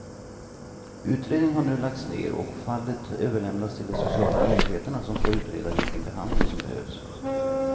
Utredningen har nu lagts ner och fallet överlämnats till de sociala myndigheterna som ska utreda vilken behandling som behövs.